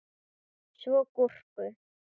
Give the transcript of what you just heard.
Svo gúrku.